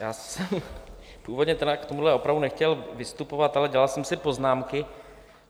Já jsem původně k tomuhle opravdu nechtěl vystupovat, ale dělal jsem si poznámky.